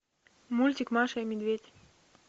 мультик маша и медведь